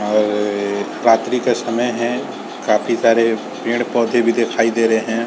और रात्रि का समय है। काफी सारे पेड़-पौधे भी दिखाई दे रहे हैं।